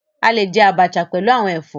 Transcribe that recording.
A lè jẹ abacha pẹlú àwọn ẹfọ.